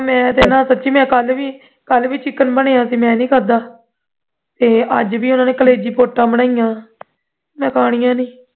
ਮੈਂ ਤੇ ਨਾ ਸੱਚੀ ਮੈਂ ਕੱਲ ਵੀ chicken ਬਣਿਆ ਸੀ ਮੈਂ ਨਹੀਂ ਖਾਂਦਾ ਤੇ ਅੱਜ ਵੀ ਉਨ੍ਹਾਂ ਨੇ ਕਲੇਜੀ ਪੌਟਾਂ ਬਣਾਈਆਂ ਮੈਂ ਖਾਣੀਆਂ ਨਹੀਂ